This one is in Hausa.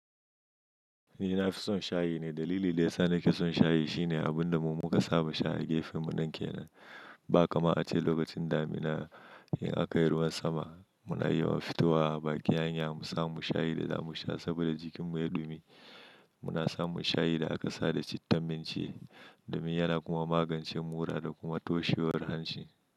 Ni na fi son shayi ne. Dalili daya sa nake son shayi, shine abunda mu muka saba shayi gefenmu nan kenan. Ba kamar a ce lokacin damina, in aka yi ruwan sama, muna yawan fitowa baƙin hanya, mu samu shayi da za mu sha, saboda jikinmu ya ɗumi. Muna samun shayi da aka sa da cittan minci, domin yana kuma magancen mura da kuma toshewar hanci.